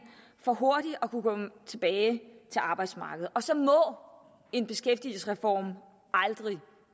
for hurtigt at kunne komme tilbage til arbejdsmarkedet og så må en beskæftigelsesreform aldrig